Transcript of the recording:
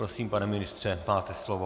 Prosím, pane ministře, máte slovo.